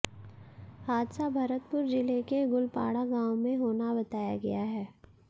हादसा भरतपुर जिले के गुलपाड़ा गांव में होना बताया गया है